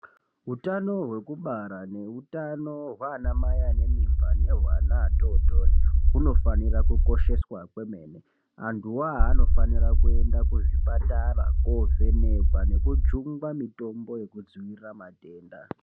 Hutano hwekubara nehutano hanamai ane mimba nehweana atotori hunofanira kukosheswa kwemene. Antu avo anonira kuenda kuzvipatara kovhenekwa nekujungwa mitombo yekudzivirira matenda.